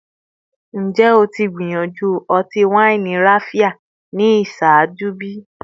Njẹ o ti gbiyanju ọti-waini Raphia ni iṣaaju bi?